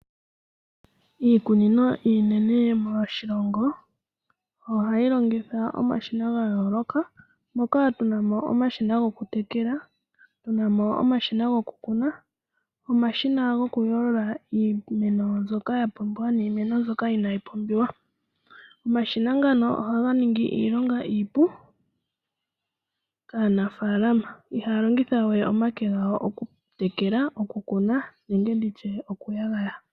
Iikunino iinene moshilongo ohayi longitha omashina ga yooloka . Moka tuna mo omashina gokutekela, tuna mo omashina gokukuna, nomashina gokuyoolola iimeno mbyoka ya pumbiwa naambyoka inaayi pumbiwa. Omashina ngano ohaga ningi iilonga iipu kaanafaalama. Ihaya longitha we omake gawo okutekela, okukuna nenge nditye okuyagaya.